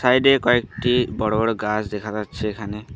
Side -এ কয়েকটি বড় বড় গাছ দেখা যাচ্ছে এখানে।